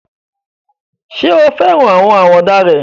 Ṣé o fẹ́ràn àwọn àwàdà rẹ̀?